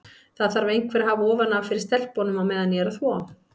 Það þarf einhver að hafa ofan af fyrir stelpunum á meðan ég er að þvo.